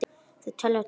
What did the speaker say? Þau telja tugi.